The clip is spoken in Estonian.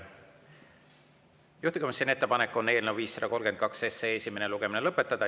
Juhtivkomisjoni ettepanek on eelnõu 532 esimene lugemine lõpetada.